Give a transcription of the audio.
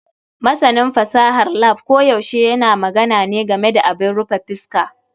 Masanin fasahar lab koyaushe yana magana ne game da abin rufe fuska.